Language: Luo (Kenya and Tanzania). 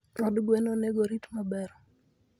Od gwen onego orit maber.